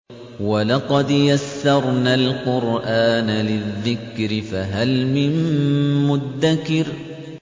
وَلَقَدْ يَسَّرْنَا الْقُرْآنَ لِلذِّكْرِ فَهَلْ مِن مُّدَّكِرٍ